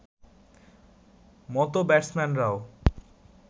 মতো ব্যাটসম্যানরাও